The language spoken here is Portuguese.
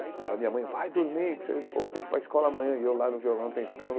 Aí a minha mãe, vai dormir, que você, pô, tem que ir pra escola amanhã, e eu lá no violão tentando.